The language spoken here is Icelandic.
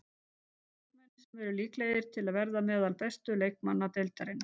Tveir leikmenn sem eru líklegir til að vera meðal bestu leikmanna deildarinnar.